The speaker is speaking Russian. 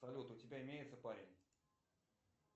салют у тебя имеется парень